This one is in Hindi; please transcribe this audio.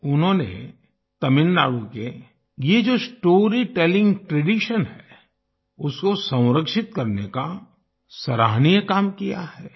उन्होंने तमिलनाडु के ये जो स्टोरीटेलिंग ट्रेडिशन है उसको संरक्षित करने का सराहनीय काम किया है